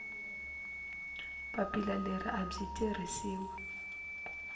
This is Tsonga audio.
papila leri a byi tirhisiwi